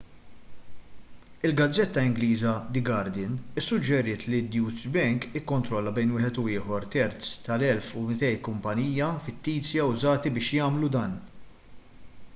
il-gazzetta ingliża the guardian issuġġeriet li d-deutsche bank ikkontrolla bejn wieħed u ieħor terz tal-1200 kumpanija fittizja użati biex jagħmlu dan